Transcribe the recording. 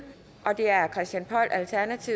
halvtreds